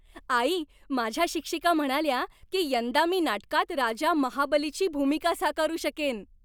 आई, माझ्या शिक्षिका म्हणाल्या की यंदा मी नाटकात राजा महाबलीची भूमिका साकारू शकेन.